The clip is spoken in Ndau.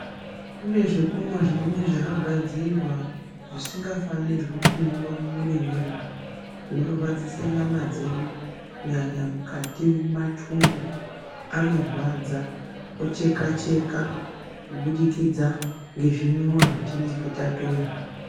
Kune zvokumwa zvimweni zvakagadzirwa zvisingafanirwi kumwiwa mumwiri mwedu. Zvinorwadzise nyama dzedu kunyanya mukati mumathumbu anorwadza ocheka cheka kubudikidza ngezvimwiwa zvetinenge tatora